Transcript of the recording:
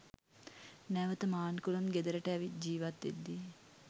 නැවත මාන්කුලම් ගෙදරට ඇවිත් ජීවත් වෙද්දී